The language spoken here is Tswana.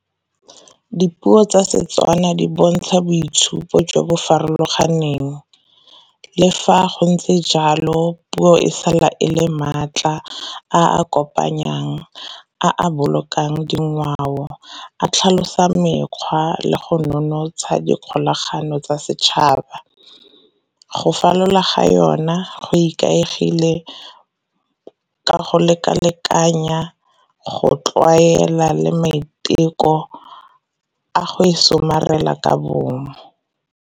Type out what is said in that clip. Dipuo tsa Setswana di bontsha boitshupo jo bo farologaneng. Le fa go ntse jalo, puo e sala ele maatla a kopanyang, a a bolokang dingwao, a tlhalosa mekgwa le go nonotsha dikgolagano tsa setšhaba. Go falola ga yona ikaegile ka go leka-lekanya, go tlwaela, le maiteko a go e somarela ka bongwe.